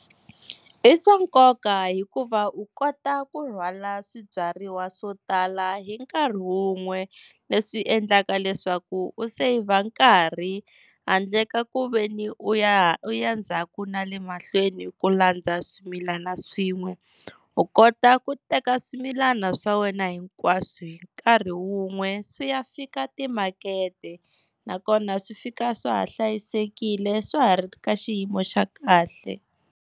I swa nkoka hikuva u kota ku rhwala swibyariwa swo tala hi nkarhi wun'we leswi endlaka leswaku u saver nkarhi, handle ka ku veni u u ya ndzhaku na le mahlweni ku landza swimilana swin'we. U kota ku teka swimilana swa wena hinkwaswo hi nkarhi wun'we swi ya fika timakete, nakona swi fika swa ha hlayisekile swa ha ri ka xiyimo xa kahle.